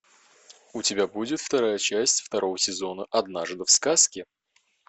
у тебя будет вторая часть второго сезона однажды в сказке